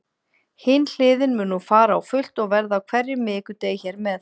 Hin hliðin mun nú fara á fullt og verða á hverjum miðvikudegi hér með.